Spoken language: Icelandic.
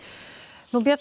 björn